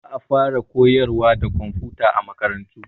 Za a faraa koyarwa da komfuta a makarantu.